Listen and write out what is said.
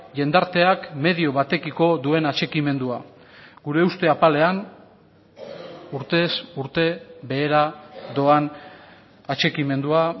jendarteak medio batekiko duen atxikimendua gure uste apalean urtez urte behera doan atxikimendua